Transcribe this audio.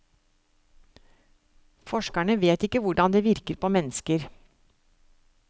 Forskerne vet ikke hvordan det virker på mennesker.